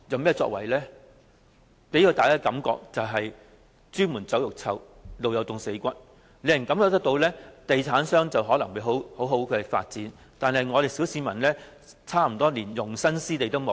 它只能給大家"朱門酒肉臭，路有凍死骨"的感覺，地產商在賺大錢，但小市民卻連容身之地也沒有。